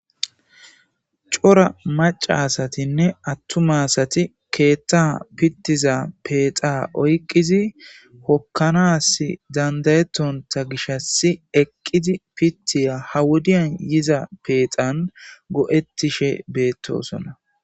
cora maca asatinne attuma asati keethta pittiza peexa oyqqizi hokkanas dandayettonta gishas eqqidi pittiya hawudiyan yiza peexan go'ettishe beettosona